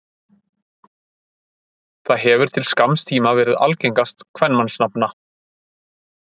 það hefur til skamms tíma verið algengast kvenmannsnafna